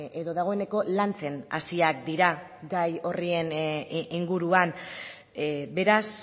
edo dagoeneko lantzen hasiak dira gai horren inguruan beraz